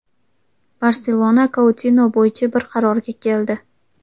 "Barselona" Koutino bo‘yicha bir qarorga keldi.